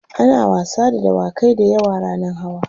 ana wasa da dawakai da yawa rannan hawa